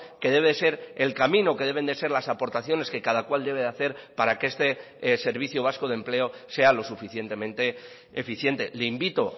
que debe ser el camino que deben de ser las aportaciones que cada cual debe de hacer para que este servicio vasco de empleo sea los suficientemente eficiente le invito